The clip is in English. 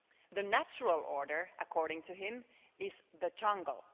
The natural order, according to him, is the jungle.